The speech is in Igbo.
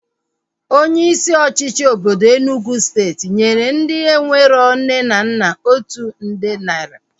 Onye isi ọchịchị obodo Enugwu steeti nyere ndị enwero nne na nna otu nde naira